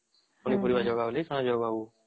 ପାଣି ପାରିବା ଜାଗା ବୋଲି ସେଯାଗାଉ